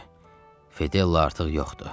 Fedella artıq yoxdur.